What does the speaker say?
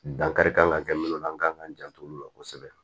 Dankari kan ka kɛ minnu na an kan k'an jant'olu la kosɛbɛ